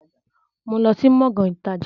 Mo ń lọ sí Gbọ̀ngán ìtajà